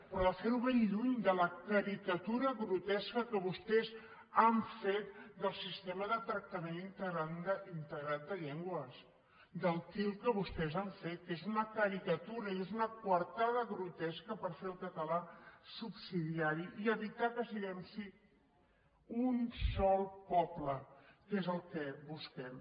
però fer ho ben lluny de la caricatura grotesca que vostès han fet del sistema de tractament integrat de llengües del til que vostès han fet que és una caricatura i és una coartada grotesca per fer el català subsidiari i evitar que siguem sí un sol poble que és el que busquem